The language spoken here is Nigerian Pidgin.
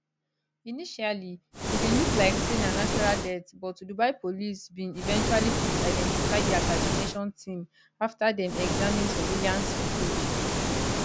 initially e bin look like say na natural death but dubai police bin eventually fit identify di assassination team afta dem examine surveillance footage